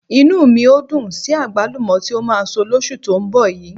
Inú mi ò dùn sí àgbálùmọ́ tí ó máa so lóṣù tó ń bọ̀ yìí